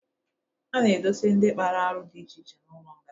A na-edosa ndị kpara arụ dị iche iche n'ụlọ nga.